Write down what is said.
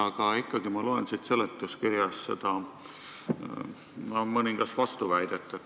Aga ikkagi ma loen siit seletuskirjast mõningasi vastuväiteid.